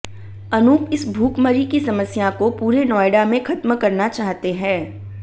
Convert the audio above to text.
अनूप इस भूखमरी की समस्या को पुरे नोयडा में खत्म करना चाहते हैं